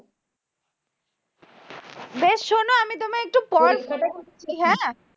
বেশ শোনো আমি তোমায় একটু পর phone করছি হ্যাঁ